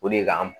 O de ka